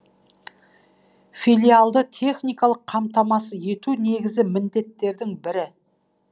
филиалды техникалық қамтамасыз ету негізі міндеттердің бірі